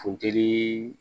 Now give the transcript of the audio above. Funteni